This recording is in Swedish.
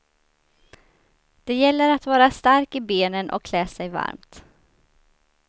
Det gäller att vara stark i benen och klä sig varmt.